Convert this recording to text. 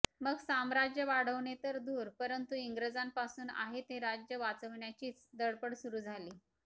मग साम्राज्य वाढवणे तर दूर परंतु इंग्रजांपासून आहे ते राज्य वाचवण्याचीच धडपड सुरू झाली